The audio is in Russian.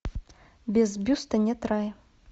без бюста нет рая